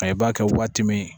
A i b'a kɛ waati min